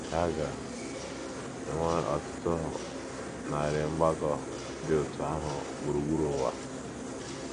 A ga - enwe ọtụtụ narị mgbakọ dị otú ahụ gburugburu ụwa.